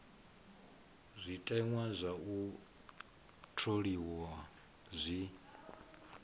zwiteṅwa zwa u tholiwa zwi